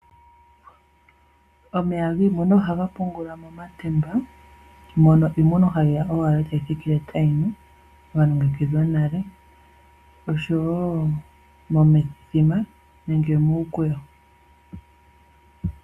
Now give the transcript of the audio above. Omeya giimuna ohaga pungulwa momatemba, mono iimuna hayi ya owala etayi thikile tayi nu ga longekidhwa nale oshowo momithima nenge muukweyo.